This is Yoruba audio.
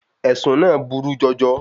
Ẹ̀sùn náà burú jọjọ.